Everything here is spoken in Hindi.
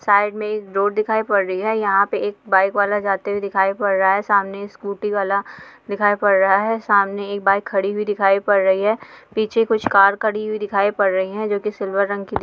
साइड मे एक रोड दिखाई पड रही हैं यहाँ पे एक बाईक वाला जाते हुये दिखाई पड रहा हैं सामने स्कूटी वाला दिखाई पड रहा हैं सामने एक बाईक खड़ी हुई दिखाई पड रही हैं पीछे कुछ कार खड़ी हुई दिखाई पड रही हैं जो कि सिल्वर रंग कि --